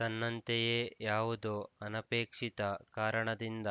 ತನ್ನಂತೆಯೇ ಯಾವುದೋ ಅನಪೇಕ್ಷಿತ ಕಾರಣದಿಂದ